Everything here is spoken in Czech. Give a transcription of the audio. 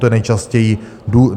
To je nejčastější důchod.